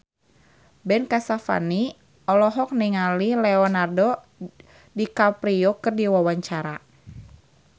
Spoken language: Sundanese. Ben Kasyafani olohok ningali Leonardo DiCaprio keur diwawancara